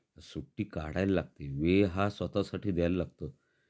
सुट्टी काढायला लागते वेळ हा स्वतः साठी दयायला लागतो